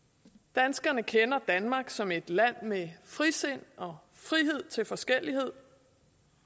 danskerne kender danmark som et land med frisind og frihed til forskellighed